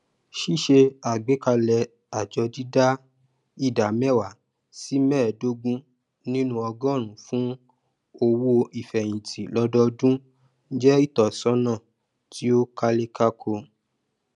ṣíṣe àgbékalẹ àjọ dídá ìdá mẹwàá sí mẹẹdógún nínú ọgọrùún fún owoífẹhìntì lọdọọdún jẹ ìtọsọnà tí ó kálékáko